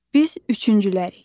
Biz üçüncülərik.